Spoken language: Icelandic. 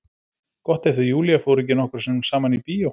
Gott ef þau Júlía fóru ekki nokkrum sinnum saman í bíó.